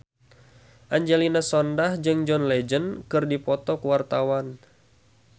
Angelina Sondakh jeung John Legend keur dipoto ku wartawan